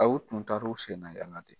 A u tun taara u sennayala de.